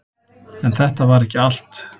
En þetta var ekki allt.